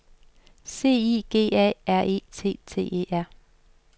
C I G A R E T T E R